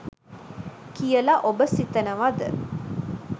කියල ඔබ සිතනවද?